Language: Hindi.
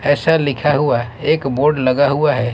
ऐसा लिखा हुआ है एक बोर्ड लगा हुआ है।